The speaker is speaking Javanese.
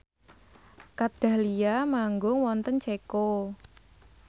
Kat Dahlia manggung wonten Ceko